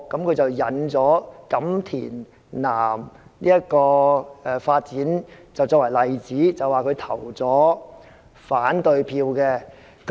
他引用發展錦田南作為例子，說他投下了反對票。